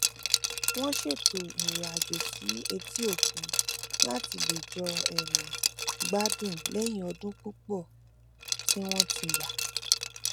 wón ṣètò ìrìn àjò sí etíòkun láti lè jọ um gbádùn lẹyìn ọdún púpò tí wón ti yà